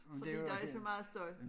Fordi der er så meget støj